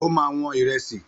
Ó ma wọn ìrẹsì